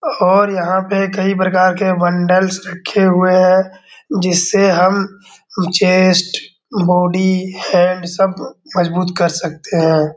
और यहाँ पे कई प्रकार के बंडलस रखे हुए हैं जिससे हम चेस्ट बॉडी हैंड सब मजबूत कर सकते हैं।